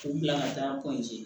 K'u bila ka taa